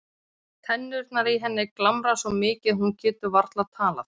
Tennurnar í henni glamra svo mikið að hún getur varla talað.